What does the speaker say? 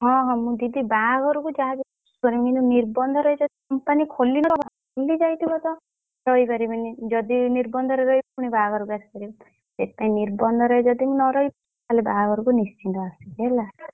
ହଁ ହଁ ମୁଁ ଯିବି ବାହାଘର କୁ ଯାହା ବି ହେଲେ ଯିବି କିନ୍ତୁ ନିର୍ବନ୍ଧ ରେ ଯଦି company ଖୋଲି ନଥିବ ଖୋଲି ଯାଇଥିବ ତ କହିପାରିବିନି ଯଦି ନିର୍ବନ୍ଧ ରେ ଆସିବି ପୁଣି ବାହାଘରକୁ ଆସିବି ସେଇଥିପାଇଁ ନିର୍ବନ୍ଧ ରେ ଯଦି ମୁଁ ନ ରହି ପାରିଲି ତାହାଲେ ବାହାଘରକୁ ନିଶ୍ଚିନ୍ତ ଆସିବି ହେଲା!